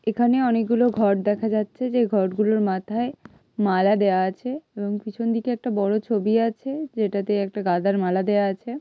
এখানে অনেকগুলো ঘট দেখা যাচ্ছে যে ঘটগুলোর মাথায় মালা দেওয়া আছে এবং পিছন দিকে একটা বড় ছবি আছে যেটাতে একটা গাঁদার মালা দেওয়া আছে।